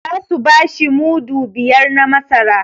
Za su bashi mudu biyar na masara